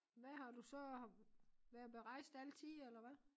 Hvad har du så har været berejst altid eller hvad